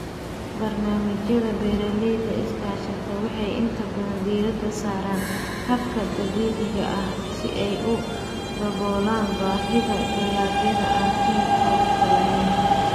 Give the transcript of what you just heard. Barnaamijyada beeralayda iskaashatada waxay inta badan diiradda saaraan hababka dabiiciga ah si ay u daboolaan baahida dalagyada aan kiimikaad lahayn.